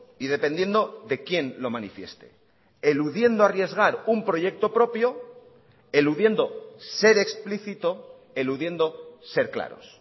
y dependiendo de quién lo manifieste eludiendo arriesgar un proyecto propio eludiendo ser explícito eludiendo ser claros